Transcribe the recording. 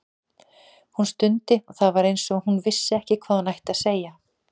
Hún stundi og það var eins og hún vissi ekki hvað hún ætti að segja.